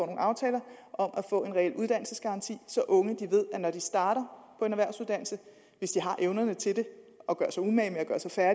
aftaler om at få en reel uddannelsesgaranti så unge når de starter på en erhvervsuddannelse hvis de har evnerne til det og gør sig umage med at